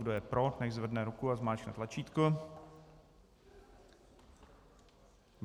Kdo je pro, nechť zvedne ruku a zmáčkne tlačítko.